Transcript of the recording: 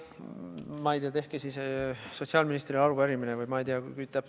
Ma ei tea, tehke siis sotsiaalministrile arupärimine, või ma ei tea.